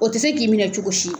O te se k'i minɛ cogo si